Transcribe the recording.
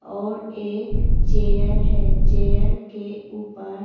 और एक चेयर है चेयर के ऊपर।